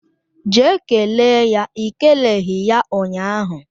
Jee kelee ya I keleghi ya ụnyahụ